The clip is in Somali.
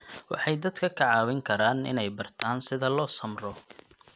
Waxay dadka ka caawin karaan inay bartaan sida loo samro.